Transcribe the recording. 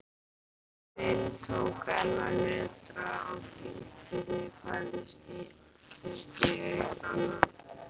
Jörðin tók enn að nötra og dynkirnir færðust í aukana.